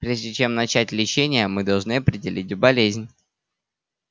прежде чем начать лечение мы должны определить болезнь